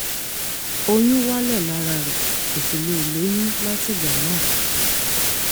oyún wálẹ̀ lára rẹ̀ kò sì lè lóyún látìgbà náà